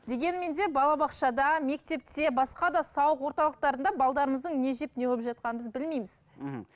дегенмен де балабақшада мектепте басқа да сауық орталықтарында не жеп не қойып жатқанын біз білмейміз мхм